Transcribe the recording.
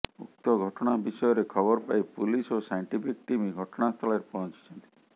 ଉକ୍ତ ଘଟଣା ବିଷୟରେ ଖବର ପାଇ ପୁଲିସ ଓ ସାଇଣ୍ଟିଫିକ ଟିମ ଘଟଣାସ୍ଥଳରେ ପହଞ୍ଚିଛନ୍ତି